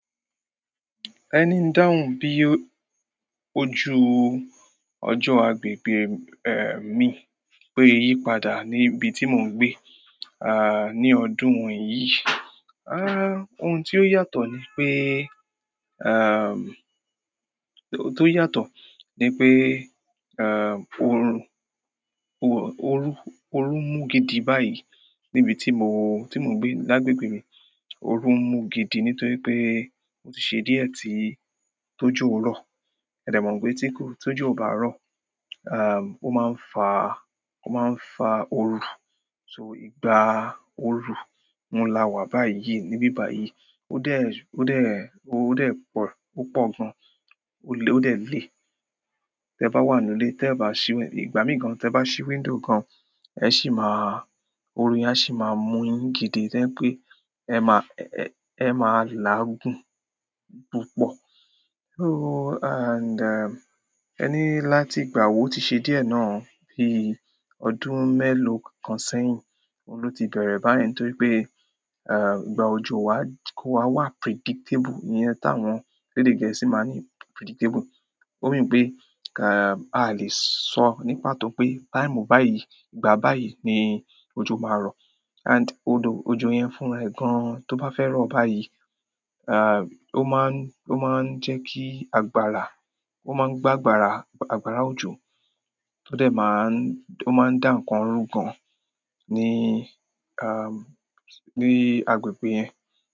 Ẹni dáhùn bí ojú ọjọ́ agbègbè mi bo se yípadà níbi tí mò ń gbe ní ọdún yìí. Ohun tí ó yàtọ̀ ni pé, oun tó yàtọ̀ ni pé oru mú gidi báyìí níbi tí mò, tí mò ń gbé. Lágbègbè mi oru mú gidi nítorí pé ó ti ṣe díẹ̀ tí tójó rọ̀. Ẹ̀de mò ń pe tí kò, tójú ó bá rọ̀, ó máa ń fa, ó máa ń fa oru. So, ìgbà oru oun la wà báyìí níbí báyìí ó dè po púpọ̀ gan. Ó lè, ó dè lè. Ti e bá wà nínú ilé, tẹ bá ṣí wínd- ìgbà mìí gàn tẹ bá ṣí window gan, ẹ sì máa, oru yẹn ṣì a máa mú yín gidi to je pé ẹ má, ẹ má làágùn púpọ̀. So, and, ẹ ni láti ìgbà wo, o ti ṣe díẹ̀ náà, bí ọdún mélòó kan sẹ́yìn, òun ló ti bẹ̀rẹ̀ báyìí nítorí pé ìgbà òjò wa, kò wa predictable ìyẹn táwọn elede gẹ̀ẹ́sì máa ní predictable. Ó mean pé, a o lè sọ ní pàtó pé time báyìí, ìgbà báyìí ni òjò máa rọ̀. And odò, òjò yẹn fún ẹ gan tó bá fẹ́ rọ̀ báyìí, o máa ń jẹ́ kí agbára, ó máa ń gbá agbára, agbára òjò tó dè máa ń, ó máa ń dà ǹkan run gan ní agbègbè yẹn.